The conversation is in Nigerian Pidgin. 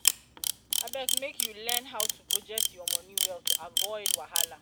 abeg make you um learn um how to budget your moni well to avoid um wahala.